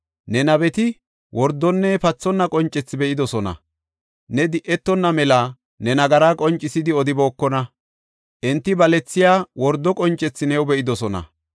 Ne nabeti wordonne pathonna qoncethi be7idosona; ne di7etonna mela ne nagaraa qoncisidi odibookona; enti balethiya wordo qoncethi new be7idosona.